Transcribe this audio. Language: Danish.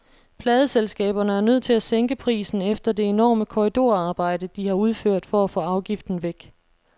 Pladeselskaberne er nødt til at sænke prisen efter det enorme korridorarbejde, de har udført for at få afgiften væk.